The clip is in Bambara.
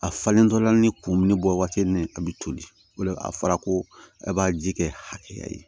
A falentɔla ni kumuni bɔ waati ni a bɛ toli o la a fɔra ko a b'a ji kɛ hakɛya ye